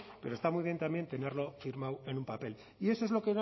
pero está muy bien también tenerlo firmado en un papel y eso es